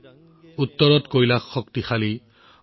কৈলাশ উত্তৰত শক্তিশালী